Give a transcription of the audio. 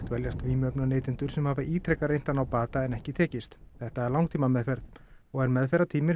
dveljast vímuefnaneytendur sem hafa ítrekað reynt að ná bata áður en ekki tekist þetta er langtímameðferð og er